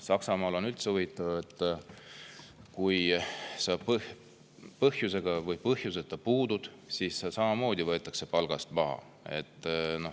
Saksamaal on üldse huvitav: ükskõik kas puudud põhjusega või põhjuseta, ikka võetakse samamoodi palgast maha.